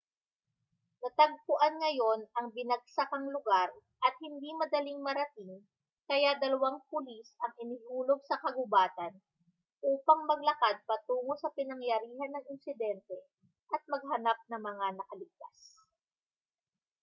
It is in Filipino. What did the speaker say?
natagpuan ngayon ang binagsakang lugar at hindi madaling marating kaya dalawang pulis ang inihulog sa kagubatan upang maglakad patungo sa pinangyarihan ng insidente at maghanap ng mga nakaligtas